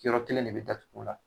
Yɔrɔ kelen de be datugu o la.